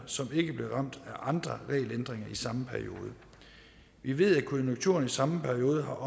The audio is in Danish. som ikke blev ramt af andre regelændringer i samme periode vi ved at konjunkturerne i samme periode